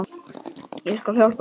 Ég skal hjálpa þér.